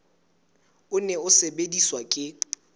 o ne o sebediswa ke